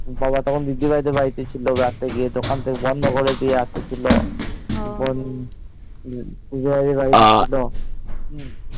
গলা তখন দিদি ভিড়ের বাড়িতে ছিল রাত্রে গিয়ে দোকান বন্ধ করে দিয়ে রাতে ছিল বোন যে বাড়িতে ছিল